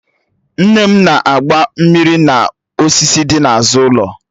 Nne mụ na-agba mmiri n'osisi dị n'azụ ụlọ